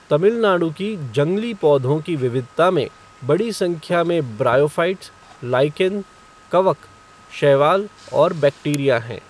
तमिलनाडु की जंगली पौधों की विविधता में बड़ी संख्या में ब्रायोफ़ाइट्स, लाइकेन, कवक, शैवाल और बैक्टीरिया हैं।